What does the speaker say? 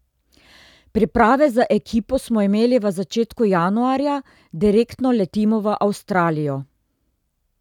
Priprave z ekipo smo imeli v začetku januarja, direktno letimo v Avstralijo.